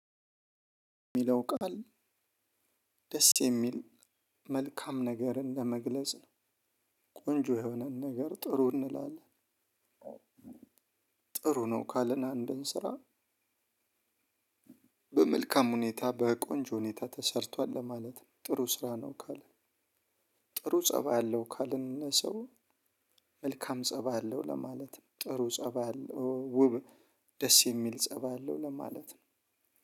እሚለው ቃል ደስ የሚል መልካም ነገርን ለመግለጽ ነው ቆንጆ የሆነን ነገር ጥሩ እንላለን። ጥሩ ነው ካልን አንድ አንድንስራ። በመልካም ሁኔታ በቆንጆ ሁኔታ ተሰርቷል ለማለት ነው ጥሩ ስራ ነው ካልነ። ጥሩ ፀባይ አለው ካልነ ሰው። መልካም ፀባ አለው ለማለት ነው ጥሩ ፀባይ አለው ውብ ደስ የሚል ፀባይ አለው ለማለት ነው።